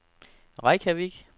Reykjavik